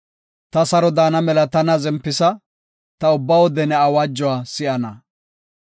Ta saro daana mela tana zempisa; ta ubba wode ne awaajuwa si7ana.